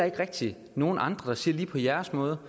ikke rigtig nogen andre der siger lige på jeres måde